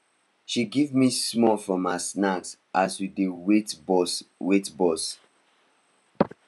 she give me small from her snack as we dey wait bus wait bus